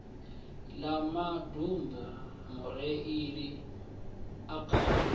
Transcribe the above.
ḽa maḓumbu mureiḽi a kanda